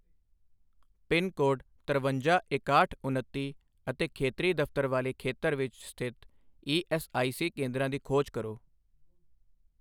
Pin code ਤਰਵੰਜਾ ਇਕਾਹਠ ਉਨੱਤੀ ਅਤੇ ਖੇਤਰੀ ਦਫ਼ਤਰ ਵਾਲੇ ਖੇਤਰ ਵਿੱਚ ਸਥਿਤ ਈ ਐੱਸ ਆਈ ਸੀ ਕੇਂਦਰਾਂ ਦੀ ਖੋਜ ਕਰੋ।